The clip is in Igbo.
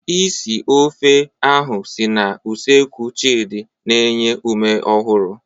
Isi ofe oha si na usekwu Chidi na-enye ume ọhụrụ.